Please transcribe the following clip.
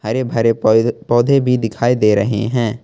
हरे भरे पेड़ पौधे भी दिखाई दे रहे हैं।